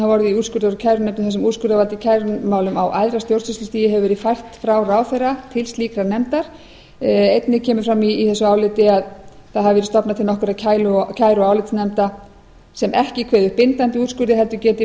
orðið í úrskurðar og kærunefnd þar sem úrskurðarvald í kærumálum á æðra stjórnsýslustigi hefur verið fært frá ráðherra til slíkar nefndar einnig kemur fram í þessu áliti að það hafiverið stofnað til nokkurra kæru og álitsnefnda sem ekki kveði upp bindandi úrskurði heldur geti